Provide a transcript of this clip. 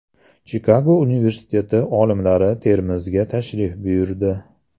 Chikago universiteti olimlari Termizga tashrif buyurdi .